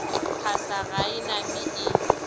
phasa ga e name e